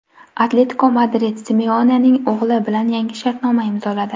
"Atletiko Madrid" Simeonening o‘g‘li bilan yangi shartnoma imzoladi.